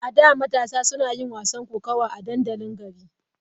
A da, matasa suna yin wasan kokawa a dandalin gari.